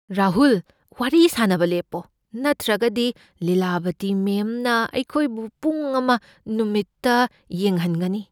ꯔꯥꯍꯨꯜ! ꯋꯥꯔꯤ ꯁꯥꯅꯕ ꯂꯦꯞꯄꯣ, ꯅꯠꯇ꯭ꯔꯒꯗꯤ ꯂꯤꯂꯥꯕꯇꯤ ꯃꯦꯝꯅ ꯑꯩꯈꯣꯏꯕꯨ ꯄꯨꯡ ꯑꯃ ꯅꯨꯃꯤꯠꯇ ꯌꯦꯡꯍꯟꯒꯅꯤ꯫